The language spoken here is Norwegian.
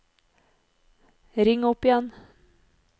ring opp igjen